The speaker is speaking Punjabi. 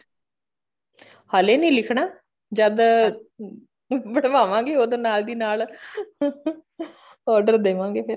ਹਲੇ ਨੀ ਲਿਖਣਾ ਜਦ ਬਣਵਾਵਾਂਗੀ ਉਦੋਂ ਨਾਲ ਦੀ ਨਾਲ order ਦੇਵਾਂਗੇ ਫ਼ੇਰ